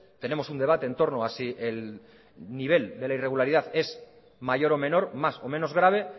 tenemos un debate en torno a si el nivel de la irregularidad es mayor o menor más o menos grave